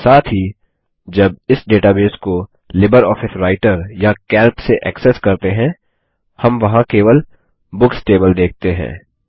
साथ ही जब इस डेटाबेस को लिबरऑफिस राइटर या कैल्क से एक्सेस करते हैं हम वहाँ केवल बुक्स टेबल देखते हैं